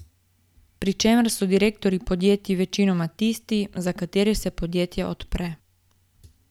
Pri čemer so direktorji podjetij večinoma tisti, za katere se podjetje odpre.